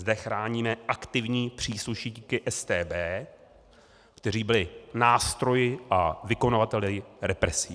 Zde chráníme aktivní příslušníky StB, kteří byli nástroji a vykonavateli represí.